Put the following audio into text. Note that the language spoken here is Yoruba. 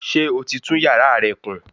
Ṣé o ti tún yàrá rẹ kùn?